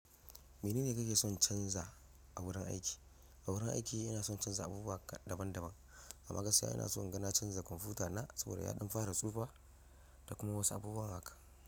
Mene ne ka ke son canza a wurin aiki? A wurin aiki ina son canza abubuwa daban daban. Amma gaskiya ina so n'gana canza kwamfuta na saboda yaɗin fara tsufa da kuma wasu abubuwa haka.